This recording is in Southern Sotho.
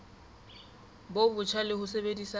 bo botjha le ho sebedisa